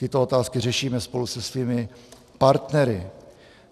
Tyto otázky řešíme spolu se svými partnery.